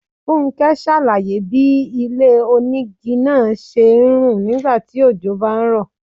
Fúnké ṣàlàyé bí ilé-onígi náà ṣe ń rùn nígbà tí ojò bá ń rọ̀.